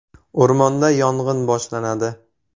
O‘rmonda yong‘in boshlanadi.